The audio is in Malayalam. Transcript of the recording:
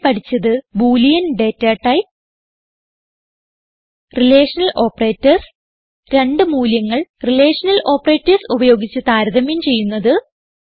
ഇവിടെ പഠിച്ചത് boolean data type relational operators രണ്ട് മൂല്യങ്ങൾ റിലേഷണൽ ഓപ്പറേറ്റർസ് ഉപയോഗിച്ച് താരതമ്യം ചെയ്യുന്നത്